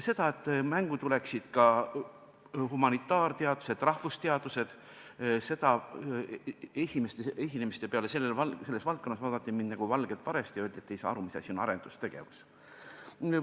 Et mängu tuleksid ka humanitaarteadused, rahvusteadused – esimeste selleteemaliste esinemiste peale vaadati mind nagu valget varest ja öeldi, et ma ei saa aru, mis asi on arendustegevus.